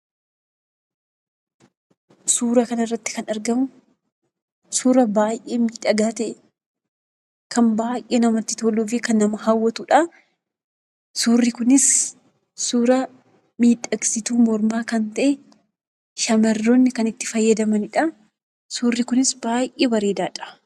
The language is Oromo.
Suuraa kanarratti kan argamu, suuraa baayyee miidhagaa ta'e, kan baayyee namatti toluufi kan nama hawwatudha. Suurri kunis suura miidhagsituu mormaa kan ta'e, shamarroonni kan itti fayyadamanidha. Suurri kunis baayyee bareedaadha.